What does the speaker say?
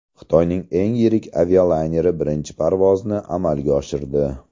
Xitoyning eng yirik avialayneri birinchi parvozni amalga oshirdi.